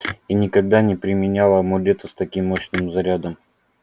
и никогда не применял амулета с таким мощным зарядом